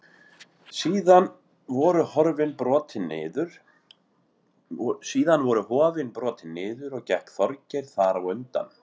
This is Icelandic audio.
Síðan voru hofin brotin niður og gekk Þorgeir þar á undan.